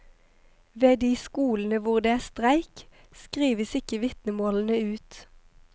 Ved de skolene hvor det er streik, skrives ikke vitnemålene ut.